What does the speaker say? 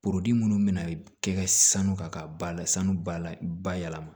minnu bɛna kɛ sanu kan ka ba la sanu b'a la bayɛlɛma